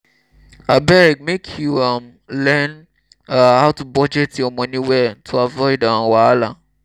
abeg make you um learn um how to budget your moni well to avoid um wahala.